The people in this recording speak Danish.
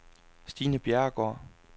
Stine Bjerregaard